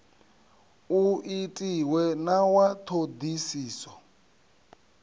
u itiwe na wa ṱhoḓisiso